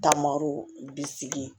Taamaro bi sigi